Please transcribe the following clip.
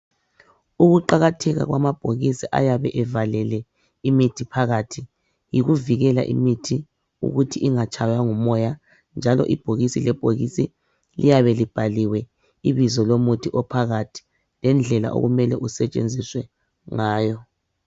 Ukuqakatheka kwamabhokisi ayabe ivalelwe imithi phakathi yikuvikela imithi ukuthi ingatshaywa ngumoya njalo ibhokisi lebhokisi liyabe libhaliwe umuthi ophakath lokuthi usetshenziswa njani